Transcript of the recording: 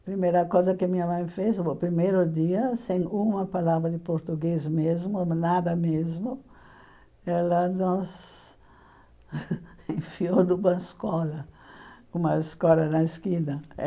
A primeira coisa que minha mãe fez, no primeiro dia, sem uma palavra de português mesmo, nada mesmo, ela nos enfiou numa escola, uma escola na esquina.